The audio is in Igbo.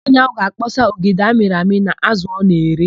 Nwaanyị áhụ̀ ga-akpọsa ogede amịrị amị na ázụ̀ ọ na-ere.